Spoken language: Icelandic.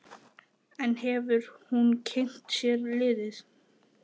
En hefur hún kynnt sér liðið?